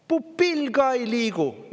Pupill ka ei liigu!